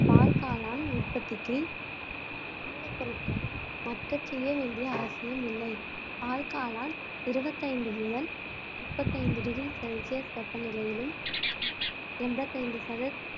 பால்காளான் உற்பத்திக்கு மூலப்பொருட்களை மட்கச் செய்ய வேண்டிய அவசியம் இல்லை பால் காளான் இருபத்தைந்து முதல் முப்பத்தைந்து டிகிரி செல்சியஸ் வெப்பநிலையிலும் சுமார் எண்பத்தி ஐந்து சத~